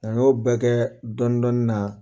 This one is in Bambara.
Nka n y'o bɛɛ kɛ dɔni dɔni na